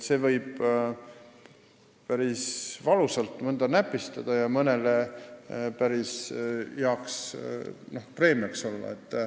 See võib mõnda päris valusalt näpistada ja mõnele päris heaks preemiaks olla.